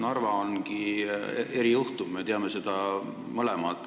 Narva ongi erijuhtum, me teame seda mõlemad.